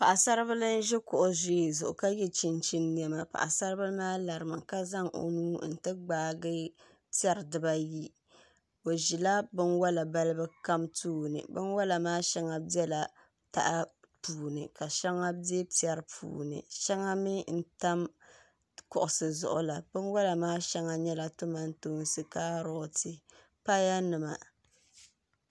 Paɣi sari bil n ʒi ka yɛ chinchin nemapaɣi sari biaa larimi ka zan o nuu n ti gbaagi pɛri dibaa ayi o ʒila bin wala balibu kam tooni shɛŋa bɛla taha puuni ka shɛŋa bɛ pɛri puuni shɛŋa min tam kuɣisi zuɣu bin wala maa shɛŋa nyɛba tomantoonsi kaaroti paya nima